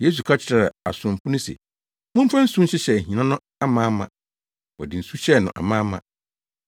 Yesu ka kyerɛɛ asomfo no se, “Momfa nsu nhyehyɛ ahina no amaama.” Wɔde nsu hyɛɛ no amaama.